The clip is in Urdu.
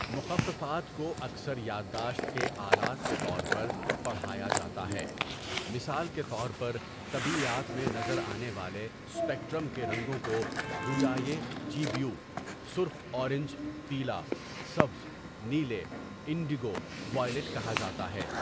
مخففات کو اکثر یادداشت کے آلات کے طور پر پڑھایا جاتا ہے، مثال کے طور پر طبیعیات میں نظر آنے والے اسپیکٹرم کے رنگوں کو رُیاے جی بیو 'سرخ اورنج، پیلا، سبز، نیلے، انڈگو، وائلٹ' کہا جاتا ہے.